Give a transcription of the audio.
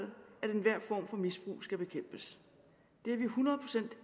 enhver form for misbrug skal bekæmpes det er vi hundrede procent